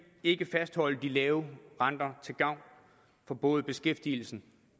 ikke fastholde de lave renter til gavn for både beskæftigelsen